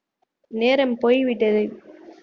நேரம் போய்விட்டது